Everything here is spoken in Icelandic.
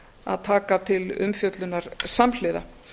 að taka til umfjöllunar samhliða